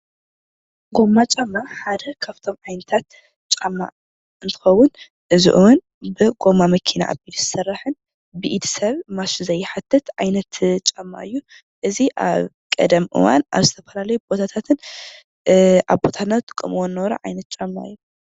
ጎማ ጫማ ሓደ ካብቶም ዓይነታት ጫማ እንትኸዉን እዚ እዋን ብጎማ መኪና ዝስራሕን ብኢድ ሰብ ማሽን ዘይሓትት ዓይነት ጫማ እዩ። እዚ ኣብ ቀደም እዋን ኣብ ዝተፈላለዩ ቦታታትን አቦታትና ዝጥቀምዎን ዝነበረ ዓይነት ጫማ እዩ።